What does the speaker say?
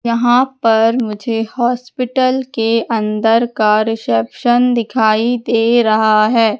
यहां पर मुझे हॉस्पिटल के अंदर का रिसेप्शन दिखाई दे रहा है।